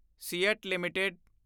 seat LTD